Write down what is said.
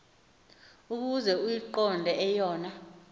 ukuze uyiqonde eyona